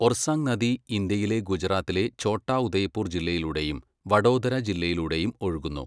ഒർസാങ് നദി ഇന്ത്യയിലെ ഗുജറാത്തിലെ ഛോട്ടാ ഉദയ്പൂർ ജില്ലയിലൂടെയും വഡോദര ജില്ലയിലൂടെയും ഒഴുകുന്നു.